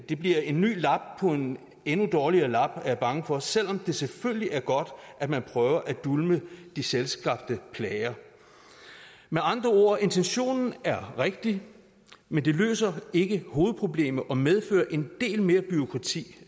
det bliver en ny lap på en endnu dårligere lap er jeg bange for selv om det selvfølgelig er godt at man prøver at dulme de selvskabte plager med andre ord intentionen er rigtig men det løser ikke hovedproblemet og medfører en del mere bureaukrati